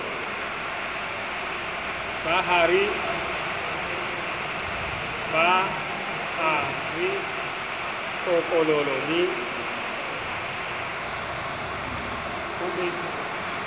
ba ha re kokololo le